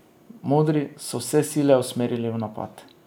Modri so vse sile usmerili v napad.